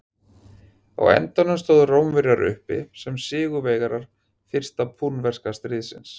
Á endanum stóðu Rómverjar uppi sem sigurvegarar fyrsta púnverska stríðsins.